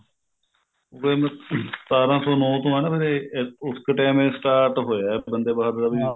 ਦੇਖਲੋ ਸਤਾਰਾਂ ਸੋ ਨੋ ਤੋਂ ਹਨਾ ਵੀ ਉਸ ਕ time ਇਹ start ਹੋਇਆ ਬੰਦੇ ਬਹਾਦਰ ਦਾ ਵੀ